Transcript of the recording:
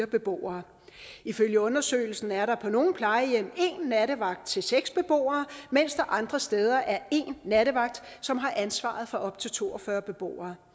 beboere ifølge undersøgelsen er der på nogle plejehjem en nattevagt til seks beboere mens der andre steder er en nattevagt som har ansvaret for op til to og fyrre beboere